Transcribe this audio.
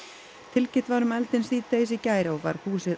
tilkynnt var um eldinn síðdegis í gær og var húsið